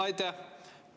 Aitäh!